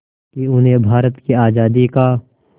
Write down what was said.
कि उन्हें भारत की आज़ादी का